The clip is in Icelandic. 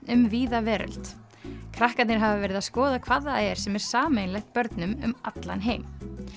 um víða veröld krakkarnir hafa verið að skoða hvað það er sem er sameiginlegt börnum um allan heim